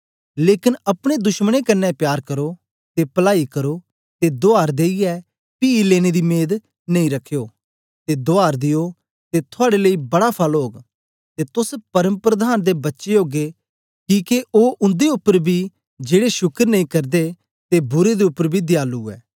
लेकन अपने दुश्मनें कन्ने प्यार करो ते पलाई करो ते दुआर देईयै पी लेने दी मेद नेई रखयो ते दुआर दियो ते थुआड़े लेई बड़ा फल ओग ते तोस परमप्रधान दे बच्चे ओगे किके ओ उन्दे उपर बी जेड़े शुकर नेई करदे ते बुरें दे उपर ते बी दयालु ऐ